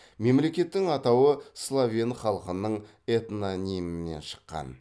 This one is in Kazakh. мемлекеттің атауы словен халқының этнонимінен шыққан